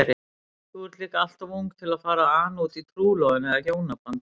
Þú ert líka alltof ung til að fara að ana útí trúlofun eða hjónaband.